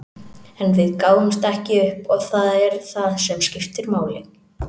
En við gáfumst ekki upp og það er það sem skiptir máli.